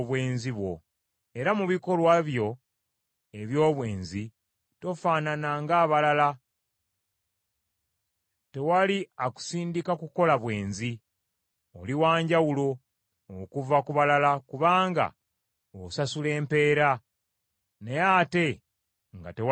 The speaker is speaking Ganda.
Era mu bikolwa byo eby’obwenzi tofaanana ng’abalala; tewali akusindika kukola bwenzi. Oli wanjawulo okuva ku balala kubanga osasula empeera, naye ate nga tewali akusasula.